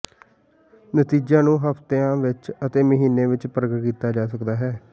ਨਤੀਜਿਆਂ ਨੂੰ ਹਫ਼ਤਿਆਂ ਵਿਚ ਅਤੇ ਮਹੀਨਾਂ ਵਿਚ ਪ੍ਰਗਟ ਕੀਤਾ ਜਾ ਸਕਦਾ ਹੈ